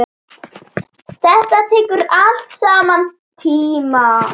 Þetta tekur allt saman tíma.